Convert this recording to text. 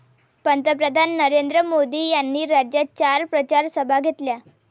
पंतप्रधान नरेंद्र मोदी यांनी राज्यात चार प्रचारसभा घेतल्या.